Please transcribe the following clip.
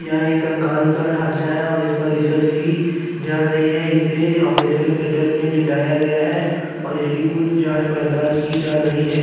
यह एक कंकाल का ढांचा है और इसपर रिसर्च की जा रही है इसे ऑपरेशन थिएटर में लिटाया गया है और इसकी कुछ जाँच पड़ताल की जा रही है।